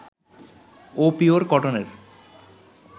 ও pure কটনের